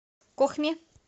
кохме